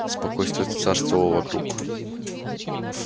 спокойствие царствовало вокруг